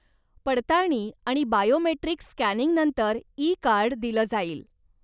पडताळणी आणि बायोमेट्रिक स्कॅनिंगनंतर ई कार्ड दिलं जाईल.